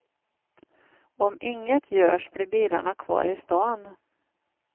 Om inget görs blir bilarna kvar i stan.